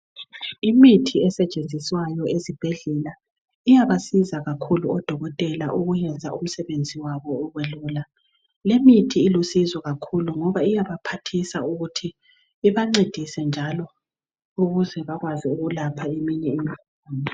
Imithi esetshenziswayo esibhedlela iyabasiza kakhulu odokotela ukuyenza umsebenzi wabo ube lula limithi ilusizo kakhulu ngoba iyabaphathisa ukuthi ibancendise njalo ukuze bakwazi ukulapha eminye